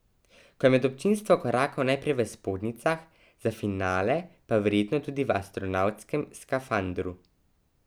Ko je med občinstvo korakal najprej v spodnjicah, za finale pa verjetno tudi v astronavtskem skafandru.